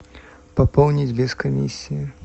пополнить без комиссии